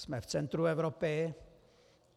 Jsme v centru Evropy.